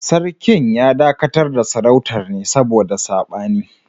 Sarkin ya dakatar da Sarautar ne saboda sabani